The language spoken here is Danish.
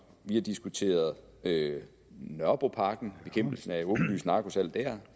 vi har diskuteret nørrebroparken og bekæmpelsen af et åbenlyst narkosalg dér og